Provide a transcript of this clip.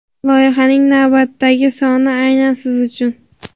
loyihasining navbatdagi soni aynan siz uchun.